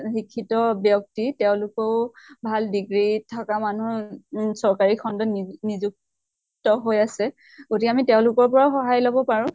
শিক্ষিত ব্য়ক্তি, তেওঁলোকেও ভাল degree থকা মানুহ উম চককাৰী খন্ডত নি নিযু ক্ত হৈ আছে। গতিকা আমি তেওঁলোকৰ পৰাও সহায় লব পাৰো।